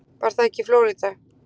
Var það ekki í Flórída?